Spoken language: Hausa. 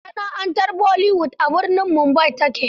Masana'antar Bollywood a birnin Mumbai ta ke.